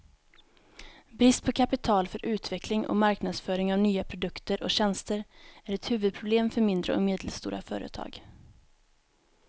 Brist på kapital för utveckling och marknadsföring av nya produkter och tjänster är ett huvudproblem för mindre och medelstora företag.